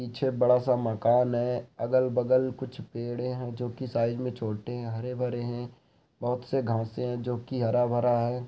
पीछे बड़ा सा मकान है अगल बगल कुछ पेड़े है जोकी साइज़ मे छोटे है हरे भरे है बहुत से घासे है जोकि हरा-भरा है।